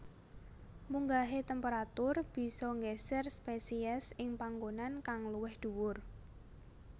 Munggahe temperatur bisa nggeser spesies ing panggonan kang luwih dhuwur